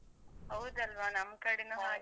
ಹೌದಲ್ವಾ ನಮ್ ಕಡೆನೂ ಹಾಗೆ.